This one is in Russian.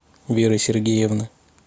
веры сергеевны